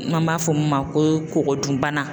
N'an b'a fɔ min ma ko kogo dun bana.